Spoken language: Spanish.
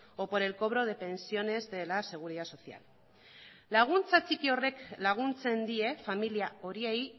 o por el cobro de pensiones de la seguridad social laguntza txiki horrek laguntzen die familia horiei